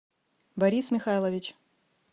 борис михайлович